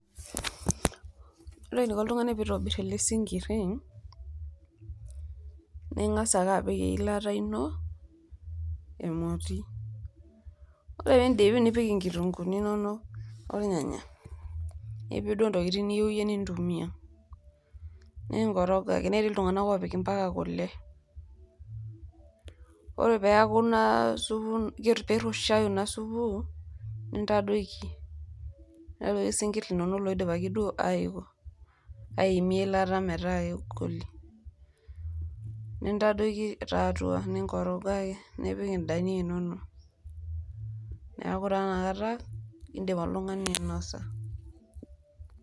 Ore eniko oltung'ani pitobir ele sinkiri, ning'asa ake apik eilata ino emoti ore piindip nipik nkitunguuni inonok ornyanyak nipik duo ntokitin niyeu iye nintumia, ninkoroga ake nitii iltung'anak oopik mpaka kule. Ore peeku naa supu piitushayu naa supu nintadoiki, niyau sinkir linonok loidipaki duo aiko aimie eilata kegoli. Nintadoiki taa atua ninkoroga ake nipik indania inonok, neeku taa ina kata indim oltung'ani ainosa.